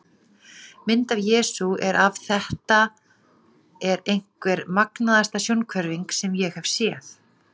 Mynd af Jesú er af Þetta er einhver magnaðasta sjónhverfing sem ég hef séð.